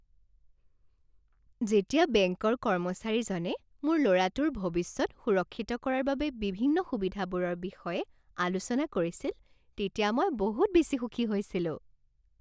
যেতিয়া বেংকৰ কৰ্মচাৰীজনে মোৰ ল'ৰাটোৰ ভৱিষ্যত সুৰক্ষিত কৰাৰ বাবে বিভিন্ন সুবিধাবোৰৰ বিষয়ে আলোচনা কৰিছিল তেতিয়া মই বহুত বেছি সুখী হৈছিলোঁ।